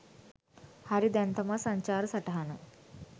හරි දැන් තමා සංචාර සටහන